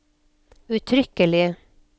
uttrykkelig